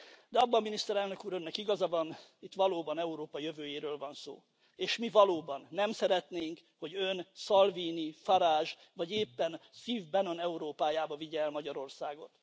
De abban, Miniszterelnök Úr, Önnek igaza van, hogy itt valóban Európa jövőjéről van szó, és mi valóban nem szeretnénk, hogy ön Salvini, Farage vagy éppen Steve Bannon Európájába vigye el Magyarországot.